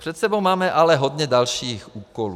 Před sebou máme ale hodně dalších úkolů.